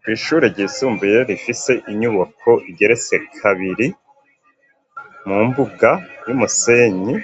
Kw'ishure ryisumbuye rifise inyubako igeretse kabiri, mu mbuga y'umusenyi